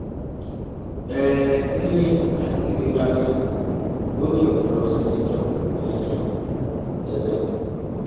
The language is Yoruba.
um n ní azikiwe bá bínú o ò ní òún ń lọ síléẹjọ um dandan ni